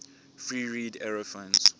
free reed aerophones